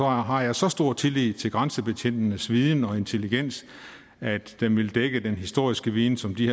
har jeg så stor tillid til grænsebetjentenes viden og intelligens at den ville dække den historiske viden som de